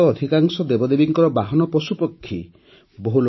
ଆମର ତ ଅଧିକାଂଶ ଦେବଦେବୀଙ୍କର ବାହନ ପଶୁପକ୍ଷୀ ଅଟନ୍ତି